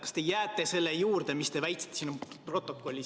Kas te jääte selle juurde, mida te väitsite?